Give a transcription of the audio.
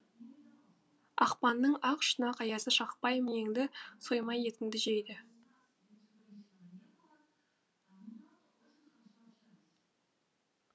ақпанның ақ шұнақ аязы шақпай миыңды соймай етіңді жейді